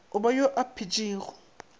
o ba yo a phetšego